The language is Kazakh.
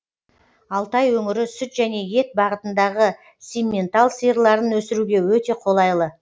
алтай өңірі сүт және ет бағытындағы симментал сиырларын өсіруге өте қолайлы